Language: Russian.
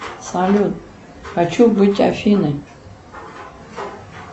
салют хочу быть афиной